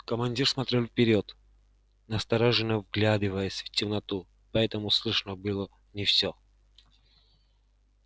командир смотрел вперёд настороженно вглядываясь в темноту поэтому слышно было не всё